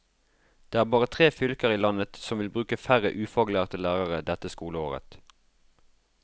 Det er bare tre fylker i landet som vil bruke færre ufaglærte lærere dette skoleåret.